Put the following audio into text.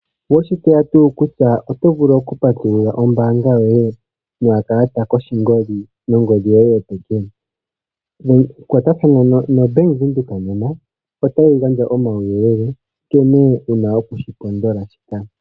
Oweshi tseya tuu kutya oto vulu okupatulula ombaanga yoye nokalalata koshingoli nongodhi yoye yopeke? Kwatathana noBank Windhoek nena, otayi gandja omauyelele nkene wuna okushipondola.